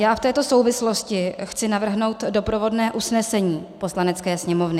Já v této souvislosti chci navrhnout doprovodné usnesení Poslanecké sněmovny.